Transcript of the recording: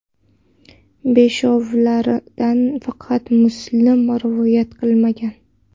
Beshovlaridan faqat Muslim rivoyat qilmagan.